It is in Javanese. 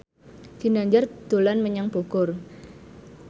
Ginanjar dolan menyang Bogor